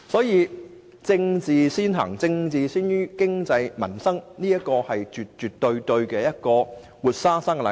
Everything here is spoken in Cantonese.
因此，政治先於經濟民生絕對是一個活生生的例子。